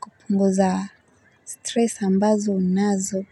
kupunguza stress ambazo unazo.